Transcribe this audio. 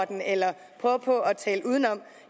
den eller prøve på at tale udenom